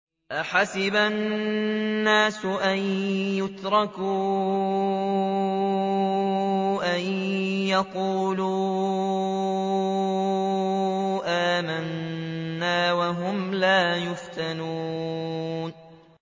أَحَسِبَ النَّاسُ أَن يُتْرَكُوا أَن يَقُولُوا آمَنَّا وَهُمْ لَا يُفْتَنُونَ